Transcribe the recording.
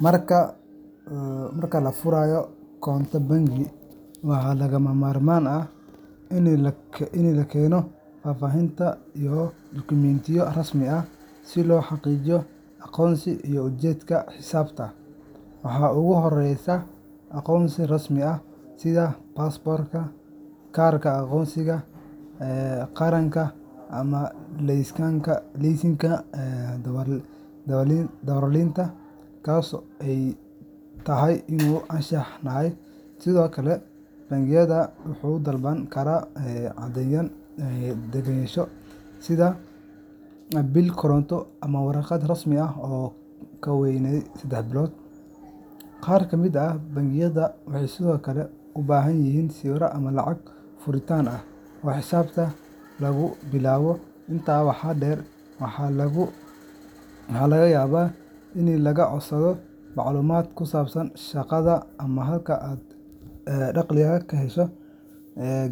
Marka la furayo konto bangi, waxaa lagama maarmaan ah in la keeno faahfaahin iyo dukumiintiyo rasmi ah si loo xaqiijiyo aqoonsiga iyo ujeedka xisaabta. Waxaa ugu horreeya aqoonsi rasmi ah sida baasaboorka, kaarka aqoonsiga qaranka, ama laysanka darawalnimada, kaas oo ay tahay inuu ansax yahay. Sidoo kale, bangiga wuxuu dalban karaa caddeyn deganaansho sida biil koronto ama warqad rasmi ah oo aan ka weynayn sedex bilood. Qaar ka mid ah bangiyada waxay sidoo kale u baahan yihiin sawir ama lacag furitaan ah oo xisaabta lagu bilaabo. Intaa waxaa dheer, waxaa laga yaabaa in lagaa codsado macluumaad ku saabsan shaqadaada ama halka aad dakhliga ka hesho,